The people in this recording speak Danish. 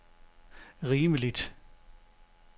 rimeligt